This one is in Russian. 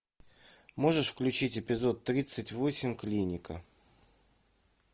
можешь включить эпизод тридцать восемь клиника